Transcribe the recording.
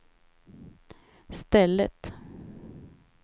stället